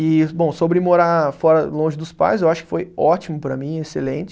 E, bom, sobre morar fora, longe dos pais, eu acho que foi ótimo para mim, excelente.